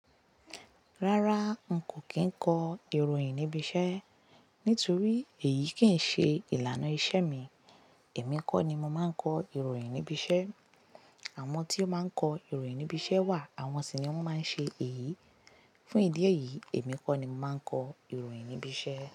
Rárá, n kò kí ń kọ ìròyìn níbi iṣẹ́ nítorí èyí kì í ṣe ìlànà iṣẹ́ mi. Èmi kọ́ ni mo máa ń kọ ìròyìn níbi iṣẹ́. Àwọn tí o máa ń kọ ìròyìn níbi iṣẹ́ wà, àwọn sì ni wọ́n máa ń ṣe èyí. Fún ìdí èyí, èmi kọ́ ni mo máa ń kọ ìròyìn níbi iṣẹ́.